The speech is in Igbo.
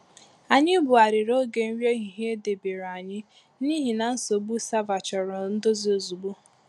Anyị bughariri oge nri ehihie e debere anyi n’ihi na nsogbu sava chọrọ ndozi ozugbo.